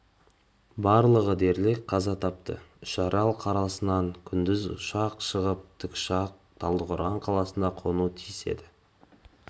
барлығы дерлік қаза тапты үшарал қаласынан күндіз ұшып шыққан тікұшақ талдықорған қаласына қонуы тиіс еді